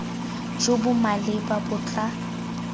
jo bo maleba bo tla